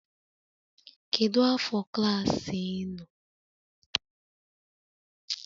Kedu afọ klaasị ị nọ?